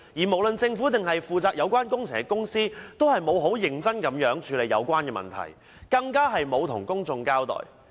無論是政府或負責有關工程的公司，均沒有認真處理有關問題，更沒有向公眾交代。